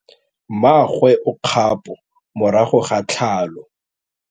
Mmagwe o kgapô morago ga tlhalô.